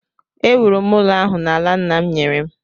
Ewuru m ụlọ ahụ n’ala nna m nyere m